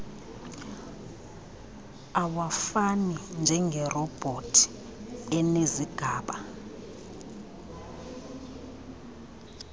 awafani njengerobhothi enezigaba